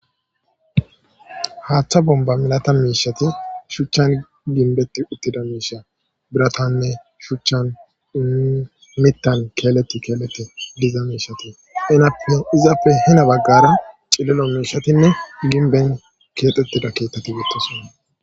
haaththa bomba milata miishati shuchchan ginbetti uttida miisha biratanne shuchchan imittan keeleti keelete diza miishati enape izappe hena baggara cillilo miishatinne ginben keexettida keettati beettosonna.